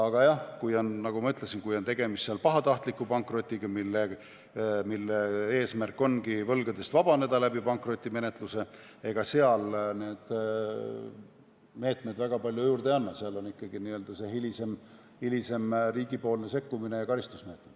Aga jah, nagu ma ütlesin, kui on tegemist pahatahtliku pankrotiga, mille eesmärk ongi võlgadest vabaneda läbi pankrotimenetluse, siis ega seal need meetmed väga palju juurde ei anna, siis on ikkagi hilisem riigi sekkumine ja karistusmeetmed.